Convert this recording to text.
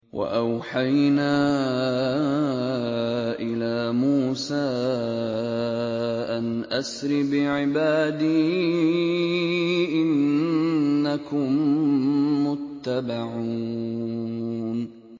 ۞ وَأَوْحَيْنَا إِلَىٰ مُوسَىٰ أَنْ أَسْرِ بِعِبَادِي إِنَّكُم مُّتَّبَعُونَ